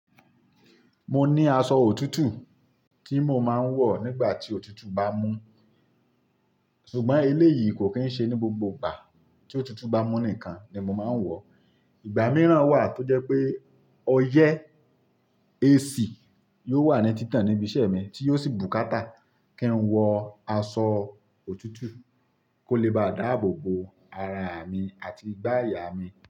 Mo ní aṣọ òtútù tí mo máa ń wọ̀ nígbà tí òtútù bá mú. Ṣùgbọ́n eléyìí kò kí ń ṣe ní gbogbo ìgbà tí òtútù bá mú nìkan ni mo máa ń wọ̀. Ìgbà mìíràn wà tó jẹ́ pé ọyẹ́ AC yóò wà ní títàn níbi iṣẹ́ mi tí yóò sì bùkátà kí n wọ aṣọ òtútù kó lè bá dáàbò bo araà mi àti ìgbàyà mi.